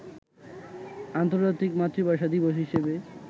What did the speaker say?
আন্তর্জাতিক মাতৃভাষা দিবস হিসেবে